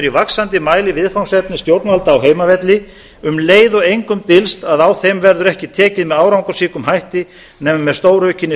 vaxandi mæli viðfangsefni stjórnvalda á heimavelli um leið og engum dylst að á þeim verður ekki tekið með árangursríkum hætti nema með stóraukinni